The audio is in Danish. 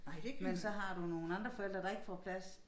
Men så har du nogle andre forældre der ikke får plads